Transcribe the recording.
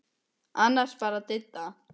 Annars bara Didda.